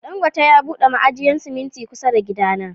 Dangote ya bude mai ajiyan siminti kusa da gida na.